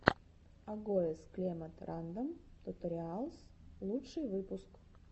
агоез клемод рандом туториалс лучший выпуск